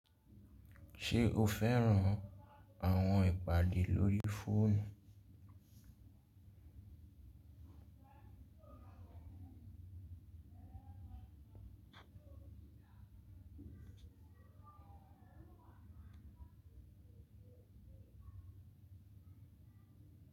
Ṣe o fẹran awọn ipade lori foonu?